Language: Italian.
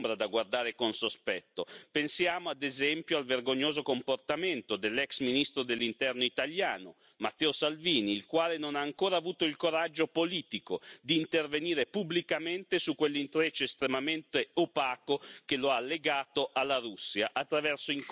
Pensiamo, ad esempio, al vergognoso comportamento dell'ex ministro dell'Interno italiano, Matteo Salvini, il quale non ha ancora avuto il coraggio politico di intervenire pubblicamente su quell'intreccio estremamente opaco che lo ha legato alla Russia attraverso incontri tutti da chiarire.